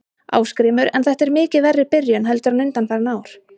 Ásgrímur: En er þetta mikið verri byrjun heldur en undanfarin ár?